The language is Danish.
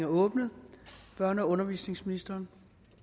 åbnet børne og undervisningsministeren